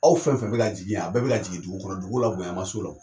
Aw fɛn fɛn bɛ ka jigin yan, a bɛɛ bɛ ka jigin dugu kɔnɔ. Dugu la bonya ma s'o la o.